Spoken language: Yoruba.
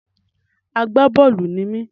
Àgbá-bọ́ọ̀lù ni mí